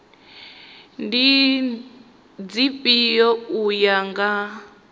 ndi dzifhio u ya nga